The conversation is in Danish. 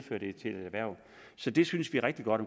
et erhverv så det synes vi rigtig godt